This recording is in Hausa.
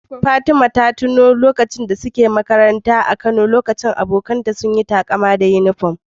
Fatima ta tuno lokacin da ta yi makaranta a Kano, inda ita da abokanta suka yi takama da rigar uniform.